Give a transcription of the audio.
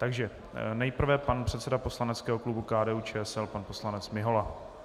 Takže nejprve pan předseda poslaneckého klubu KDU-ČSL pan poslanec Mihola.